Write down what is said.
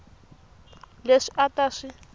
leswi a a ta swi